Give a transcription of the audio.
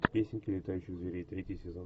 песенки летающих зверей третий сезон